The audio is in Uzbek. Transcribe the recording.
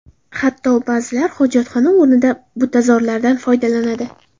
Hatto ba’zilar hojatxona o‘rnida butazorlardan foydalanadi.